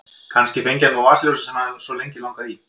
Kannski hann fengi nú vasaljósið sem hann hafði svo lengi langað í.